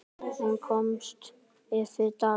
Hún kostaði fimm dali.